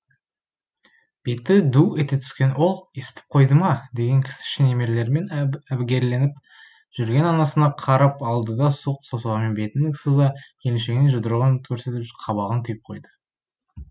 беті ду ете түскен ол естіп қойдыма деген кісіше немерелерімен әбігерленіп жүрген анасына қарап алдыда сұқ саусағымен бетін сыза келіншегіне жұдырығын көрсетіп қабағын түйіп қойды